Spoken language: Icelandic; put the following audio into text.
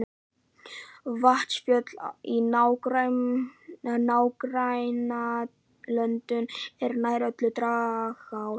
Vatnsföll í nágrannalöndunum eru nær öll dragár.